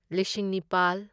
ꯂꯤꯁꯤꯡ ꯅꯤꯄꯥꯜ